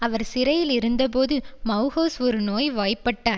அவர் சிறையிலிருந்தபோது மெளஹவுஸ் ஒரு நோய் வாய்பட்ட